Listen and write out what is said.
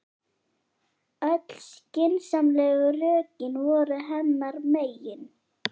Öll skynsamlegu rökin voru hennar megin.